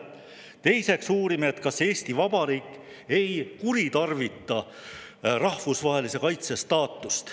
Teiseks uurime, ega Eesti Vabariik ei kuritarvita rahvusvahelise kaitse staatust.